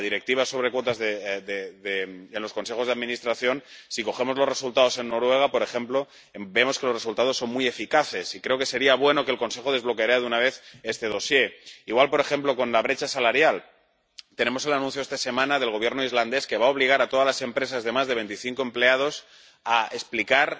Respecto a la Directiva sobre cuotas en los consejos de administración, si cogemos los resultados en Noruega, por ejemplo, vemos que los resultados son muy eficaces, y creo que sería bueno que el Consejo desbloqueara de una vez este dosier. Igual, por ejemplo, con la brecha salarial. Tenemos el anuncio esta semana del Gobierno islandés de que va a obligar a todas las empresas de más de 25 empleados a explicar